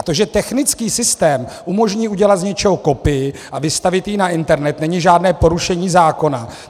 A to, že technický systém umožní udělat z něčeho kopii a vystavit ji na internet, není žádné porušení zákona.